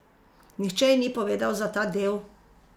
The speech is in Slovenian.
Nihče ji ni povedal za ta del.